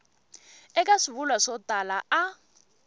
eka swivulwa swo tala a